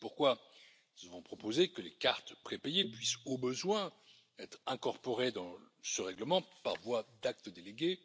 C'est pourquoi nous avons proposé que les cartes prépayées puissent, au besoin, être incorporées dans ce règlement par voie d'acte délégué.